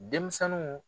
Denmisɛnninw